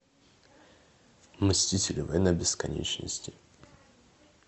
мстители война бесконечности